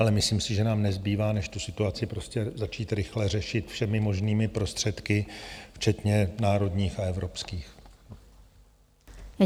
Ale myslím si, že nám nezbývá než tu situaci prostě začít rychle řešit všemi možnými prostředky, včetně národních a evropských.